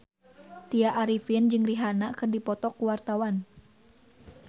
Tya Arifin jeung Rihanna keur dipoto ku wartawan